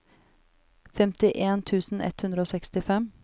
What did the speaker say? femtien tusen ett hundre og sekstifem